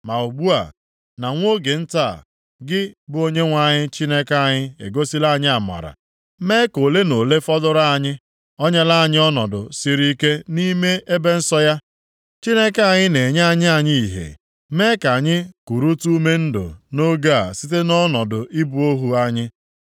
“Ma ugbu a, na nwa oge nta a, gị bụ Onyenwe anyị Chineke anyị egosila anyị amara, mee ka ole na ole fọdụrụ anyị. O nyeela anyị ọnọdụ siri ike nʼime ebe nsọ ya. Chineke anyị na-enye anya anyị ìhè, mee ka anyị kurutu ume ndụ nʼoge a site nʼọnọdụ ịbụ ohu anyị.